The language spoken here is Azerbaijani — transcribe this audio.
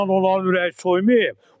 Onunla onların ürəyi soymayıb.